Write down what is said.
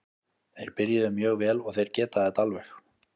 Þeir byrjuðu mjög vel og þeir geta þetta alveg.